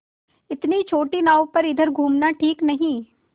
इतनी छोटी नाव पर इधर घूमना ठीक नहीं